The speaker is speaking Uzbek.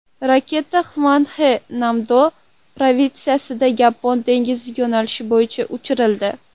Raketa Xvanxe-Namdo provinsiyasidan Yapon dengizi yo‘nalishi bo‘yicha uchirildi.